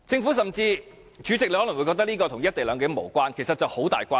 代理主席，你可能會覺得這跟"一地兩檢"無關，但其實有莫大關係。